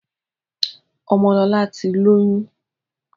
Ọmọlọlá ti lóyún.